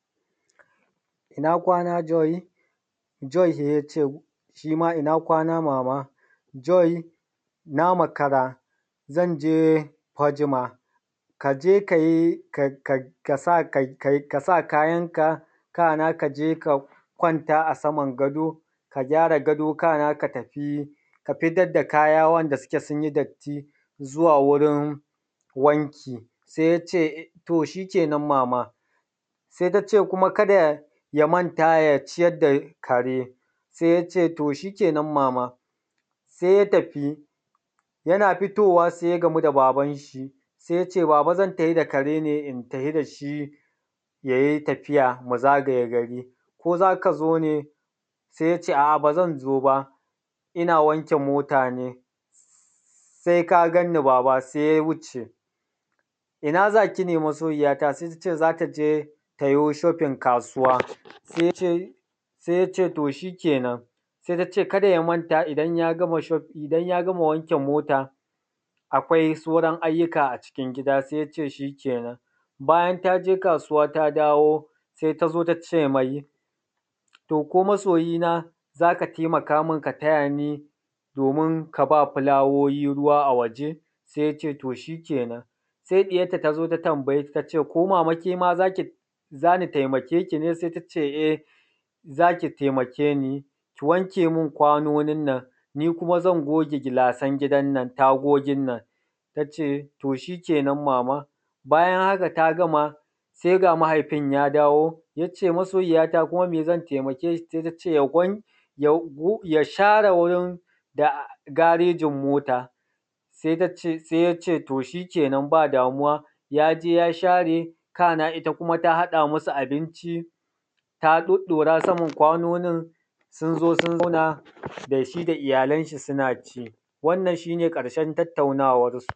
Ina kwana, Joy. Joy sai ya ce shi ma, ina kwana mama. Joy na makara, zan je Fajma, ka je ka yi, ka sa kayanka, kana ka kwanta a saman gado, ka gyara gado, kana ka tafi, ka fitar da kaya wanda suke sun yi datti zuwa wurin wanki. Sai ya ce, to shi kenan mama. Sai ta ce kuma, kada ya manta ya ciyar da kare. Sai ya ce, to shi kenan mama. Sai ya tafi. Yana fitowa, sai ya gamu da babanshi. Sai ya ce, baba zan tafi da kare ne, in tafi da shi, ya yi tafiya, mu zagaye gari, Ko za ka zo ne? sai ya ce, a’a, ba zan zo ba, ina wanke mota ne. sai ka gan ni baba. Sai ya wuce. ina za ki ne masoyiyata?. Sai ta ce, za ta je ta yo shopping kasuwa. Sai ya ce, sai ya ce, to shi kenan. sai ta ce, kada ya manta idan ya gama wanke mota, akwai sauran ayyuka a cikin gida. Sai ya ce, shi kenan. Bayan ta je kasuwa, ta dawo, sai ta zo ta ce mai, to ko masoyina za ka taimaka min ka taya ni domin ka ba fulawoyi ruwa a waje? Sai ya ce, to shi kenan. sai ɗiyarta ta zo, ta tambaye ta, ta ce, ko mama ke ma za ki, za ni taimake ki ne? sai ta ce, e, za ki taimake ni, ki wanke min kwanonin nan, ni kuma zan goge gilasan gidan nan, tagogin nan. Ta ce, to shi kenan, mama. Bayan haka ta gama, sai ga mahaifin ya dawo, ya ce masoyiya kuma me zan taimake ki? Sai ta ce, ya share wurin garejin mota. Sai ta ce, sai ya ce, to shi kenan, ba damuwa. Ya je ya share, kana ita kuma ta haɗa musu abinci, ta ɗoɗɗora saman kwanonin, sun zo sun zauna, da shi da iyalanshi suna ci. Wannan shi ne ƙarshen tattaunawarsu.